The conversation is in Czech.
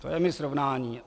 To je mi srovnání.